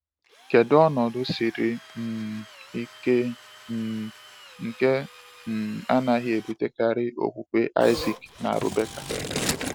Kedu ọnọdụ siri um ike um nke um anaghị ebutekarị okwukwe Isaac na Rebekah?